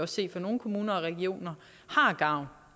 se i nogle kommuner og regioner har gavn